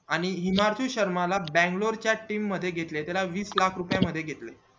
आणि शर्मा ला बंगलोर च्या team मध्ये घेतले त्याला वीस लाख रुपये मध्ये घेतले